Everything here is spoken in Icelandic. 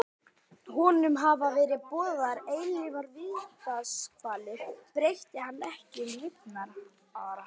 Honum hafa verið boðaðar eilífar vítiskvalir breyti hann ekki um lifnaðarhætti.